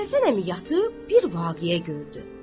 Məhəmməd Həsən əmi yatıb bir vaqeə gördü.